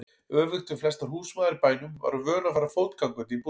Öfugt við flestar húsmæður í bænum var hún vön að fara fótgangandi í búðina.